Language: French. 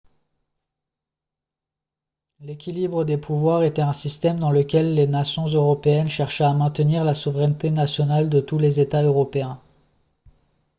l'équilibre des pouvoirs était un système dans lequel les nations européennes cherchaient à maintenir la souveraineté nationale de tous les états européens